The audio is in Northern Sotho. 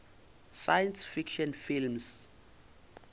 science fiction films